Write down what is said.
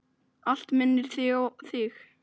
Allt minnir mig á þig.